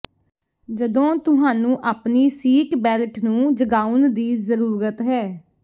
ਜਦੋਂ ਤੁਹਾਨੂੰ ਆਪਣੀ ਸੀਟ ਬੈਲਟ ਨੂੰ ਜਗਾਉਣ ਦੀ ਜ਼ਰੂਰਤ ਹੈ